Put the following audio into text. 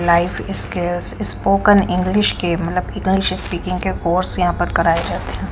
Life scales spoken English के मतलब English speaking के कोर्स यहां पर कराए जाते हैं ।